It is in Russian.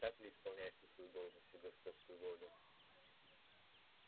так ли исполняешь ты свою должность и господскую волю